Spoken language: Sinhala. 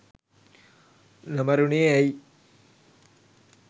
නොමරුනේ ඇයි?